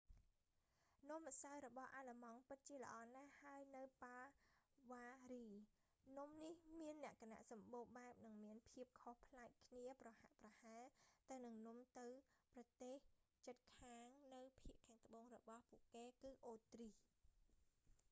នំម្សៅរបស់អាឡឺម៉ង់ពិតជាល្អណាស់ ហើយនៅបាវ៉ារី bavaria នំនេះវាមានលក្ខណៈសម្បូរបែបនិងមានភាពខុសផ្លែកគ្នា ប្រហាក់ប្រហែលទៅនឹងនំទៅប្រទេសជិតខាងនៅភាគខាងត្បូងរបស់ពួកគេគឺអូទ្រីស